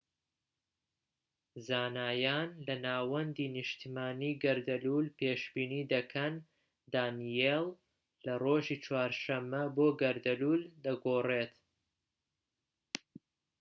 زانایان لە ناوەندی نیشتمانی گەردەلوول پێشبینی دەکەن دانیێل لە ڕۆژی چوارشەممە بۆ گەردەلوول دەگۆڕێت